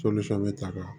ta